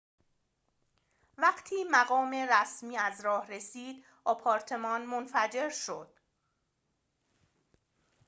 وقتی مقام رسمی از راه رسید آپارتمان منفجر شد